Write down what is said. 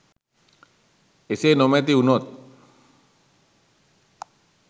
එසේ නොමැති උනොත්